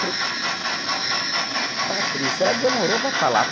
Falei, Patrícia, ela demorou para falar.